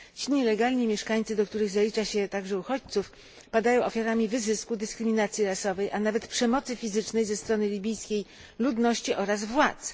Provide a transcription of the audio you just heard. Ci nielegalni mieszkańcy, do których zalicza się także uchodźców, padają ofiarami wyzysku, dyskryminacji rasowej, a nawet przemocy fizycznej ze strony libijskiej ludności oraz władz.